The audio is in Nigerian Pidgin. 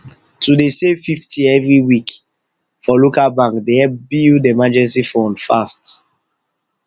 to dey save fifty every week for local bank dey help build emergency fund fast